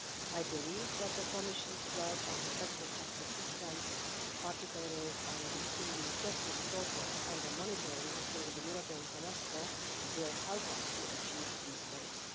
I believe that the Commission's work on effective justice systems, particularly on the EU justice scoreboard and the monitoring through the European semester, will help us to achieve these goals.